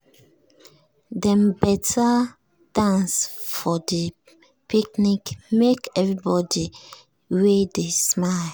dem better dance for de picnic make everybody wey dey smile.